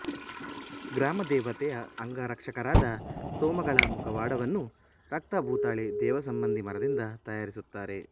ಗ್ರಾಮದೇವತೆಯ ಅಂಗರಕ್ಷಕರಾದ ಸೋಮಗಳ ಮುಖವಾಡವನ್ನು ರಕ್ತಭೂತಾಳೆ ದೇವಸಂಬಂಧಿ ಮರದಿಂದ ತಯಾರಿಸುತ್ತಾರೆ